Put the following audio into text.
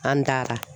An taara